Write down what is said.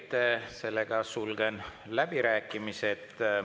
Head kolleegid, sulgen läbirääkimised.